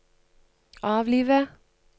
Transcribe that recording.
avlive